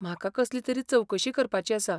म्हाका कसली तरी चवकशी करपाची आसा.